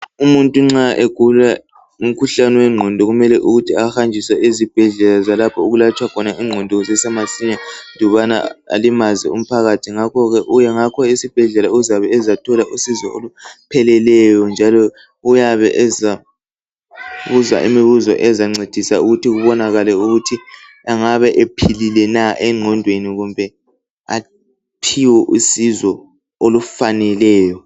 Umuntu nxa egula umkhuhlane wengqondo kumele ukuthi ahanjiswe ezibhedlela zalapho okulatshwa khona ingqondo kusesemasinya andubana alimaze umphakathi. Ngakho esibhedlela uyabe ezathola usizo olupheleleyo njalo uyabe ezabuzwa imibizo ezamncedisa ukuthi kubanakale ukuthi engabe ephilile na engqondweni aphiwe usizo olufaneleyo.